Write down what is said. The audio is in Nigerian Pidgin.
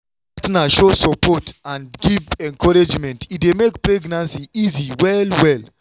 wen partner show support and give encouragement e dey make pregnancy easy well well.